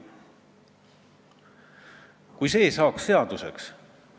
Ma eile väitlesin ühe enda valijaga, kes ütles: "Kruusimäe, sa ei ole üldse aru saanud, mis asjad need eesti keele majad on.